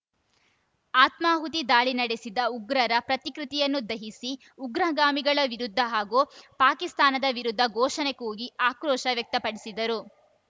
ಆತ್ಮಾಹುತಿ ದಾಳಿ ನಡೆಸಿದ ಉಗ್ರರ ಪ್ರತಿಕೃತಿಯನ್ನು ದಹಿಸಿ ಉಗ್ರಗಾಮಿಗಳ ವಿರುದ್ಧ ಹಾಗೂ ಪಾಕಿಸ್ತಾನದ ವಿರುದ್ಧ ಘೋಷಣೆ ಕೂಗಿ ಆಕ್ರೋಶ ವ್ಯಕ್ತಪಡಿಸಿದರು